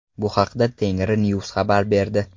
Bu haqda Tengrinews xabar berdi .